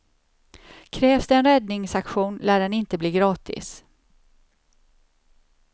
Krävs det en räddningsaktion lär den inte bli gratis.